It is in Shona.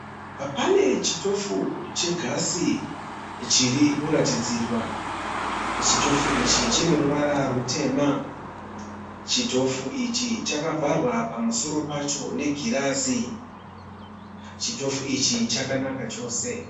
Pane chitofu chegasi chiri kuratidzirwa. Chitofu ichi chineruvara rutema. Chitofu ichi chakavharwa pamusoro pacho negirazi. Chitofu ichi chakanaka chose